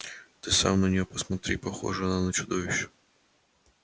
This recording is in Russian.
ты сам на нее посмотри похожа она на чудовище